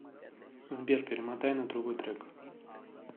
сбер перемотай на другой трек